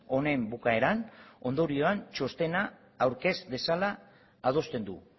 honen bukaeran ondorioan txostena aurkez dezala adosten du